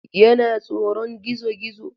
Yana tsoron gizo-gizo.